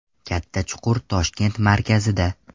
Katta chuqur Toshkent markazida.